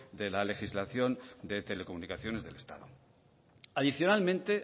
de la legislación de telecomunicaciones del estado adicionalmente